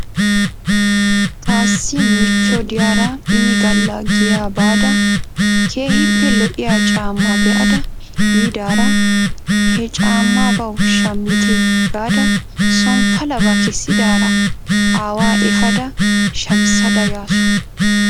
Ta issi michcho diyaara inigalla giyaa baada keehippe lo'iyaa caamaa be'ada yiidaara he caamaabaw shammite gaada son palabaa kessidaara aawaa efaada shamissada yaasu.